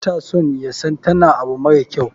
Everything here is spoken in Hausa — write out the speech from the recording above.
bata so yasan tana abu mara kyau.